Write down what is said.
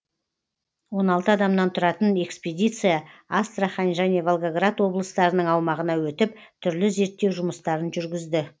он алты адамнан тұратын экспедиция астрахань және волгоград облыстарының аумағына өтіп түрлі зерттеу жұмыстарын жүргізді